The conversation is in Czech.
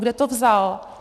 Kde to vzal?